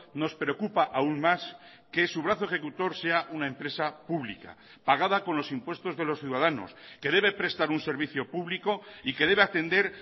nos preocupa aún más que su brazo ejecutor sea una empresa pública pagada con los impuestos de los ciudadanos que debe prestar un servicio público y que debe atender